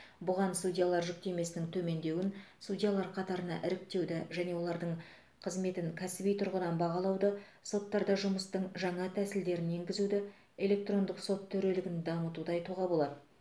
бұған судьялар жүктемесінің төмендеуін судьялар қатарына іріктеуді және олардың қызметін кәсіби тұрғыдан бағалауды соттарда жұмыстың жаңа тәсілдерін енгізуді электрондық сот төрелігін дамытуды айтуға болады